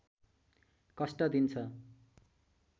कष्ट दिन्छ